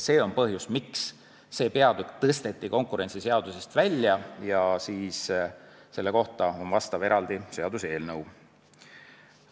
See on põhjus, miks see peatükk tõsteti konkurentsiseadusest välja ja selle kohta on eraldi seaduseelnõu.